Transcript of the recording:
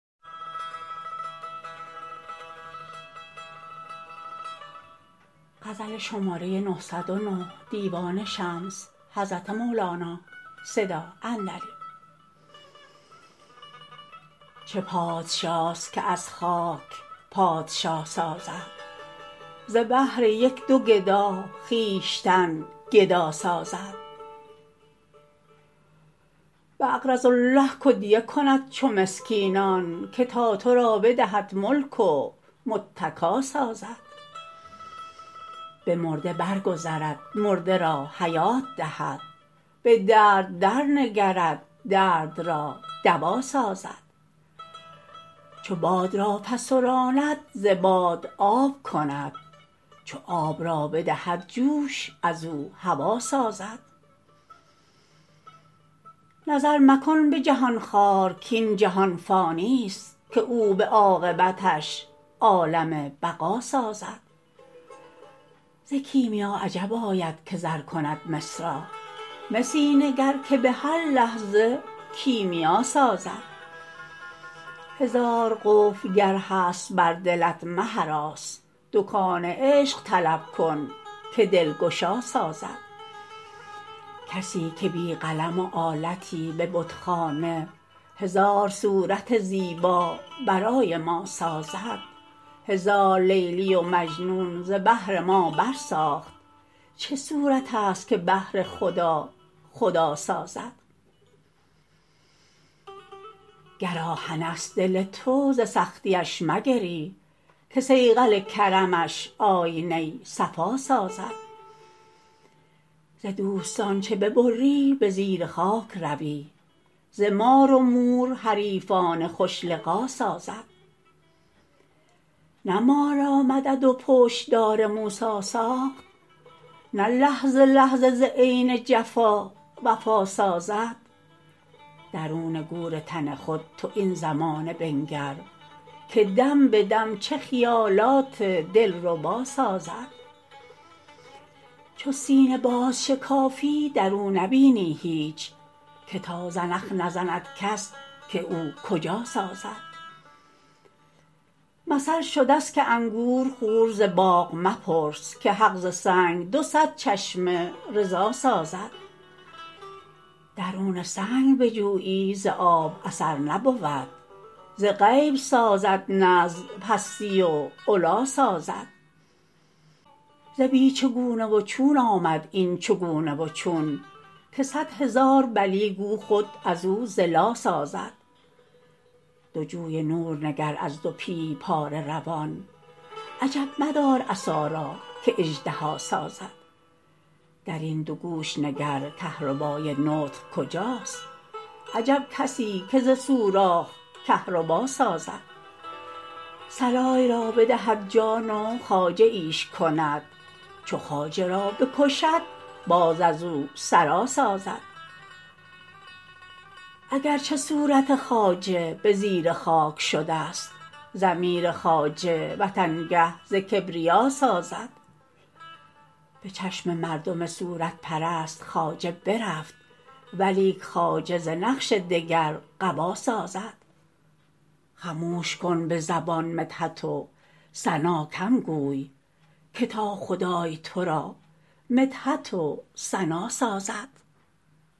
چه پادشاست که از خاک پادشا سازد ز بهر یک دو گدا خویشتن گدا سازد باقرضوا الله کدیه کند چو مسکینان که تا تو را بدهد ملک و متکا سازد به مرده برگذرد مرده را حیات دهد به درد درنگرد درد را دوا سازد چو باد را فسراند ز باد آب کند چو آب را بدهد جوش از او هوا سازد نظر مکن به جهان خوار کاین جهان فانیست که او به عاقبتش عالم بقا سازد ز کیمیا عجب آید که زر کند مس را مسی نگر که به هر لحظه کیمیا سازد هزار قفل اگر هست بر دلت مهراس دکان عشق طلب کن که دلگشا سازد کسی که بی قلم و آلتی به بتخانه هزار صورت زیبا برای ما سازد هزار لیلی و مجنون ز بهر ما برساخت چه صورتست که بهر خدا خدا سازد گر آهنست دل تو ز سختی اش مگری که صیقل کرمش آینه صفا سازد ز دوستان چو ببری به زیر خاک روی ز مار و مور حریفان خوش لقا سازد نه مار را مدد و پشت دار موسی ساخت نه لحظه لحظه ز عین جفا وفا سازد درون گور تن خود تو این زمان بنگر که دم به دم چه خیالات دلربا سازد چو سینه بازشکافی در او نبینی هیچ که تا زنخ نزند کس که او کجا سازد مثل شدست که انگور خور ز باغ مپرس که حق ز سنگ دو صد چشمه رضا سازد درون سنگ بجویی ز آب اثر نبود ز غیب سازد نه از پستی و علا سازد ز بی چگونه و چون آمد این چگونه و چون که صد هزار بلی گو خود او زلا سازد دو جوی نور نگر از دو پیه پاره روان عجب مدار عصا را که اژدها سازد در این دو گوش نگر کهربای نطق کجاست عجب کسی که ز سوراخ کهربا سازد سرای را بدهد جان و خواجه ایش کند چو خواجه را بکشد باز از او سرا سازد اگر چه صورت خواجه به زیر خاک شدست ضمیر خواجه وطنگه ز کبریا سازد به چشم مردم صورت پرست خواجه برفت ولیک خواجه ز نقش دگر قبا سازد خموش کن به زبان مدحت و ثنا کم گوی که تا خدای تو را مدحت و ثنا سازد